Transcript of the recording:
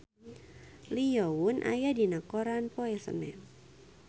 Lee Yo Won aya dina koran poe Senen